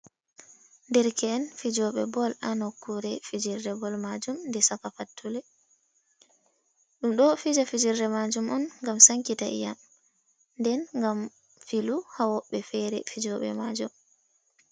Derke’en fijooɓe bol, ha nokkuure fijirde bol maajum jee caka fattule. Ɗum ɗo fija fijirde maajum on, gam sankita ii'am, den gam filu haa woɓɓe feere fijooɓe maajum.